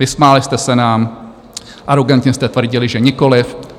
Vysmáli jste se nám, arogantně jste tvrdili, že nikoliv.